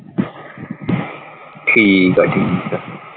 ਠੀਕ ਆ ਠੀਕ ਆ।